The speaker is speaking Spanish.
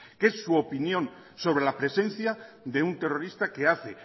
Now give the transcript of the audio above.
que es su opinión sobre la presencia de un terrorista que hace